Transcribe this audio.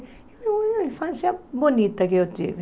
Era uma infância bonita que eu tive.